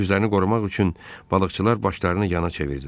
Üzlərini qorumaq üçün balıqçılar başlarını yana çevirdilər.